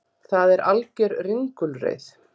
Það er alger ringulreið